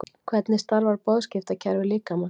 Hvernig starfar boðskiptakerfi líkamans?